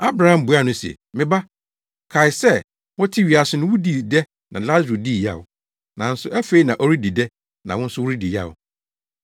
“Abraham buaa no se, ‘Me ba, kae sɛ wote wiase no wudii dɛ na Lasaro dii yaw, nanso afei na ɔredi dɛ na wo nso woredi yaw.